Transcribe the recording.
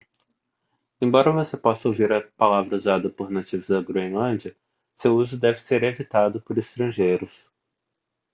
embora você possa ouvir a palavra usada por nativos da groenlândia seu uso deve ser evitado por estrangeiros